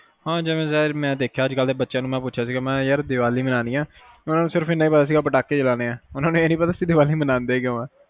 ਹਮ ਜਿਵੇ ਮੈਂ ਦੇਖਿਆ ਮੈਂ ਅੱਜ ਕਲ ਦੇ ਬੱਚਿਆਂ ਨੂੰ ਪੁੱਛਿਆ ਸੀ ਕੇ ਦਿਵਾਲੀ ਮਨੋਣੀ ਆ ਓਹਨੂੰ ਨੂੰ ਪਤਾ ਸੀ ਕੇ ਪਟਾਕੇ ਚਲੋਣੇ ਆ ਨੀ ਸੀ ਪਤਾ ਕੇ ਦਿਵਾਲੀ ਮਨਾਉਂਦੇ ਕਯੋ ਆ